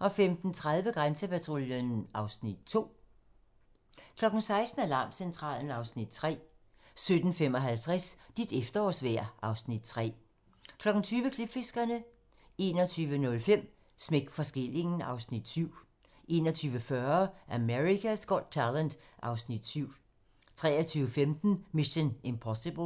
15:30: Grænsepatruljen (Afs. 2) 16:00: Alarmcentralen (Afs. 3) 17:55: Dit efterårsvejr (Afs. 3) 20:00: Klipfiskerne 21:05: Smæk for skillingen (Afs. 7) 21:40: America's Got Talent (Afs. 7) 23:15: Mission: Impossible